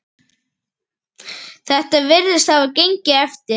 Þetta virðist hafa gengið eftir.